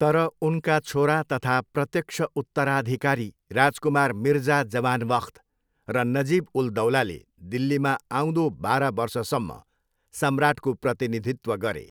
तर उनका छोरा तथा प्रत्यक्ष उत्तराधिकारी राजकुमार मिर्जा जवान बख्त र नजिब उल दौलाले दिल्लीमा आउँदो बाह्र वर्षसम्म सम्राटको प्रतिनिधित्व गरे।